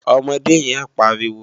Òmòdé yén pàríwó